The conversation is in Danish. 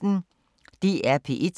DR P1